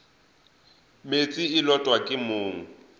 meetse e lotwa ke mong